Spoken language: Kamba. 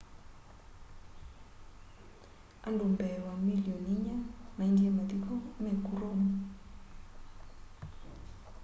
andu mbee wa milioni inya maendie mathiko meku rome